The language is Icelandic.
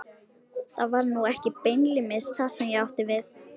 Það var nú ekki beinlínis það sem ég átti við.